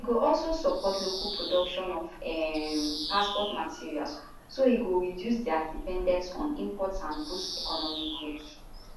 e go also support local production of um passport materials so e go reduce dia dependence on imports and boost economy